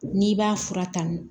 N'i b'a fura ta